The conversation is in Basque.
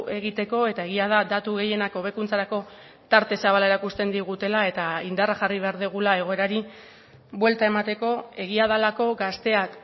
egiteko eta egia da datu gehienak hobekuntzarako tarte zabala erakusten digutela eta indarra jarri behar dugula egoerari buelta emateko egia delako gazteak